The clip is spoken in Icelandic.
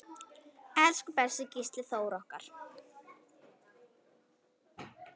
Elsku besti Gísli Þór okkar.